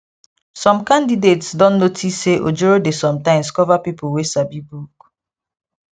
some candidates don notice say ojoro dey sometimes cover people wey sabi book